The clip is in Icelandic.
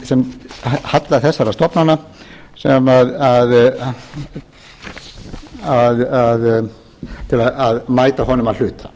upp í halla þessara stofnana til að mæta honum að hluta